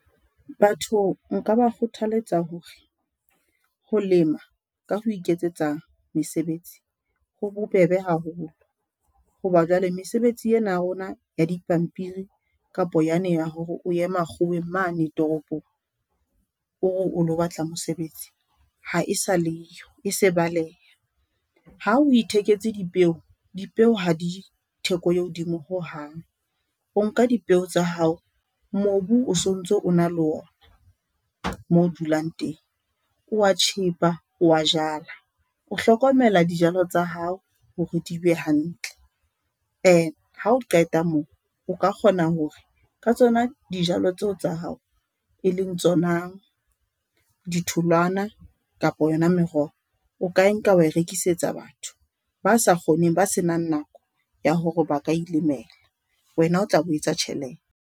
Batho nka ba kgothaletsa hore ho lema ka ho iketsetsa mesebetsi, ho bobebe haholo hoba jwale mesebetsi ena ya rona ya dipampiri kapa yane ya hore o ye makgoweng mane toropong o re o lo batla mosebetsi. Ha e sa le yo e se baleha. Ha o itheketse dipeo, dipeo ha di theko e hodimo hohang, o nka dipeo tsa hao. Mobu o sontso o na le ona moo o dulang teng o a tjhepa, o a jala, o hlokomela dijalo tsa hao hore di be hantle hao qeta moo, o ka kgona hore ka tsona dijalo tseo tsa ya hao, e leng tsona di tholwana kapa yona meroho. O ka nka enka wa e rekisetsa batho ba sa kgoneng ba se nang nako ya hore ba ka ilemela. Wena o tla be o etsa .